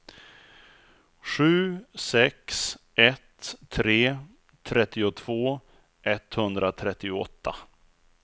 sju sex ett tre trettiotvå etthundratrettioåtta